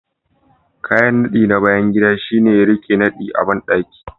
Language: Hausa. Kayan nadi na bayan gida shine ya rike nadi a bandaki